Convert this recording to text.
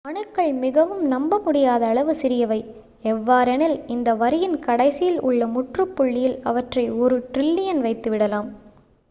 அணுக்கள் மிகவும் நம்ப முடியாத அளவு சிறியவை எவ்வாறெனில் இந்த வரியின் கடைசியில் உள்ள முற்றுப் புள்ளியில் அவற்றை ஒரு ட்ரில்லியன் வைத்து விடலாம்